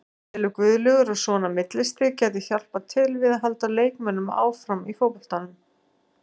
Telur Guðlaugur að svona millistig gæti hjálpað til við að halda leikmönnum áfram í fótboltanum?